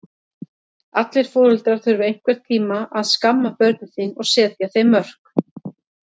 Allir foreldrar þurfa einhvern tíma að skamma börn sín og setja þeim mörk.